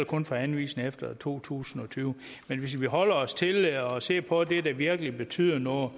kun for anvisninger efter to tusind og tyve men hvis vi holder os til at se på det der virkelig betyder noget